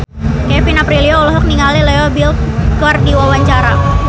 Kevin Aprilio olohok ningali Leo Bill keur diwawancara